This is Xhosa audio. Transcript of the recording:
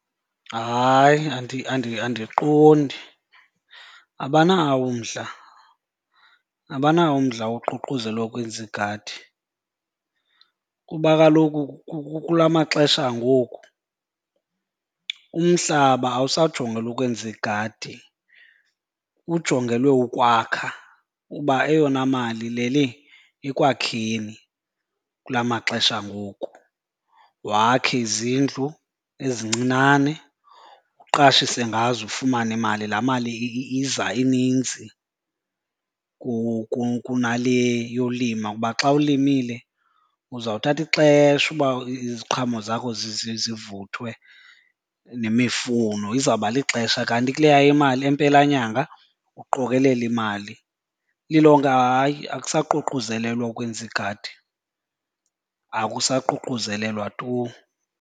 Hayi, andiqondi. Abanawo umdla, abanawo umdla woququzela ukwenza igadi kuba kaloku kula maxesha angoku umhlaba awusajongelwa ukwenza igadi, ujongelwe ukwakha kuba eyona mali ilele ekwakheni kula maxesha angoku. Wakhe izindlu ezincinane, uqashise ngazo ufumane imali. Laa mali iza ininzi kunale yolima kuba xa ulimile uzawuthatha ixesha uba iziqhamo zakho zivuthwe kuba nemifuno, izawuba lixesha. Kanti kuleya imali impelanyanga uqokelela imali. Lilonke hayi, akuququzelelwa ukwenza igadi, akusaququzelelwa tu.